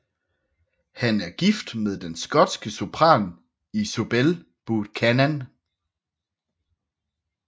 Han er gift med den skotske sopran Isobel Buchanan